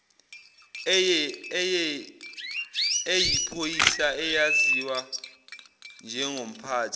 eyiphoyisa eyaziwa njengomphathi